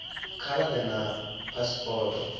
kha vha ḓe na phasipoto